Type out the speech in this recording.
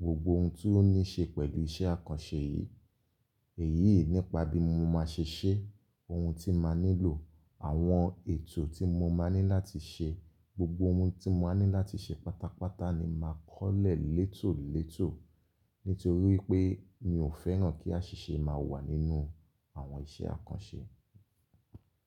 gbogbo oun tí ó ní ṣe pẹ̀lú iṣẹ́ àkànṣe yìí. Èyí nipa bí mo máa ṣe ṣẹ́, oun tí màá nílò, àwọn ètò tí mo máa ní láti ṣe, gbogbo oun tí máa ní láti ṣe pátápátá ni màá kọ́lẹ̀ létòlétò nítorí wipé mi ò fẹ́ràn kí àṣìṣe má wà nínú àwọn iṣẹ́ àkànṣe.